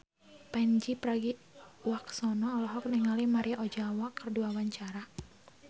Pandji Pragiwaksono olohok ningali Maria Ozawa keur diwawancara